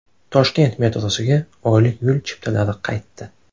Toshkent metrosiga oylik yo‘l chiptalari qaytdi.